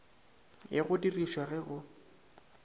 ya go dirišwa ge go